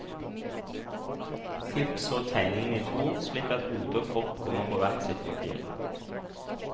Klipp så tegningene i to, slik at hode og kropp kommer på hver sitt papir.